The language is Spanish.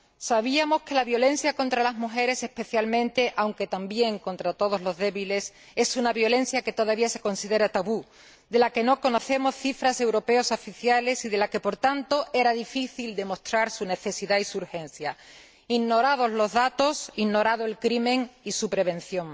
Sabíamos que la violencia contra las mujeres especialmente, aunque también contra todos los débiles, es una violencia que todavía se considera tabú, de la que no conocemos cifras europeas oficiales y de la que, por tanto, era difícil demostrar su necesidad y su urgencia ignorados los datos, ignorado el crimen y su prevención.